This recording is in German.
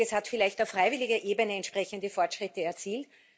Welches hat vielleicht auf freiwilliger Ebene entsprechende Fortschritte erzielt?